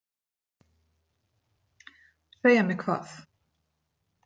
Segja mér hvað?